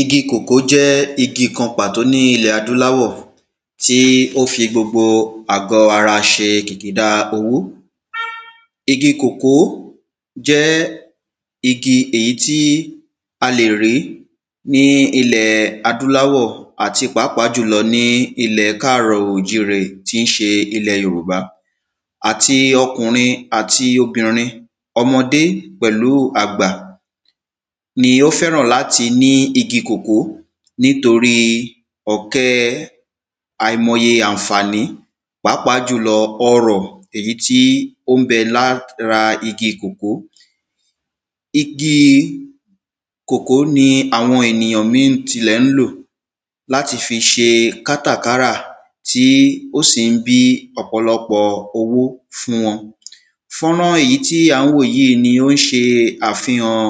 igi kòkó jẹ́ igi kan pàtó ní ilẹ̀ adúláwọ̀ tó fi gbogbo ara ṣe kìkìdáa owó igi kòkó jẹ́ igi èyí tí a lè rí ní ilẹ̀ adúláwọ̀ àti pàápàá jùlọ ní ilẹ̀ káàrọ̀òjíre tín ṣe ilẹ̀ yorùbá àti ọkùnrin, àti obìnrin, ọmọdé pẹ̀lúu àgbà, ni ó fẹ́ràn láti ní igi kòkó nítorí ọ̀kẹ́ àìmoye àǹfàní pàápàá jùlọ ọrọ̀ èyí tí ó ńbẹ lára igi kòkó igi kòkó ni àwọn ènìyàn míì tilẹ̀ ń lò láti fi ṣe kátàkárà tí ó sì ń bí ọ̀pọ̀lọ́pọ̀ owó fún wọn fọ́nrán èyí tí à ń wò yìí ní ó ń ṣe àfihàn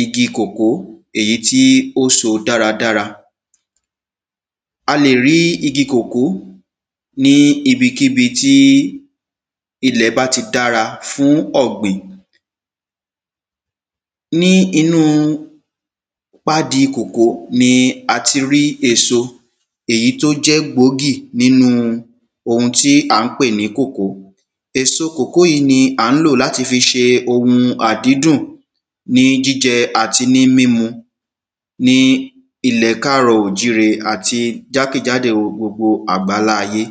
igi kòkó èyí tí ó so dáradára a lè rí igi kòkó ní ibikíbi tí ilẹ̀ báti dára fún ọ̀gbìn ní inú pádi kòkó ni a ti rí èso èyí tó jẹ́ gbòógì nínú ohun tí à ń pè ní kòkó. èso kòkó yí ni à ń lò láti fi ṣe ohun àdídùn ní jíjẹ àti ní mímu ní ilẹ̀ káàrọ̀òjíre àti jákèjádò gbogbo àgbáláyé.